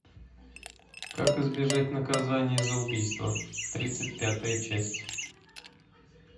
как избежать наказания за убийство тридцать пятая часть